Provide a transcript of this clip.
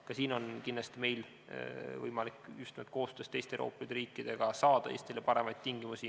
Ka siin on meil kindlasti võimalik just nimelt koostöös teiste Euroopa Liidu riikidega saada Eestile paremaid tingimusi.